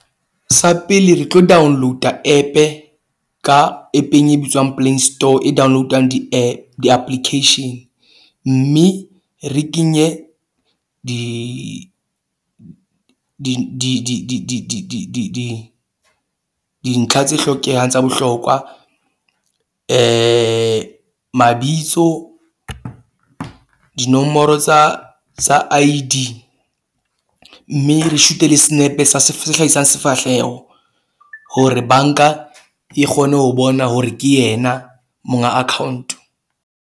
Sa pele re tlo download-a app-e ka app-eng e bitswang Play Store e download-ang di di-application. Mme re kenye di di di di di di di di di di dintlha tse hlokehang tsa bohlokwa mabitso, dinomoro tsa tsa I_D. Mme re shoot-e le senepe sa se hlahisang sefahleho hore bank-a e kgone ho bona hore ke yena monga account.